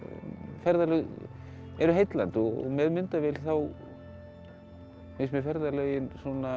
ferðalög eru heillandi og með myndavél þá finnst mér ferðalögin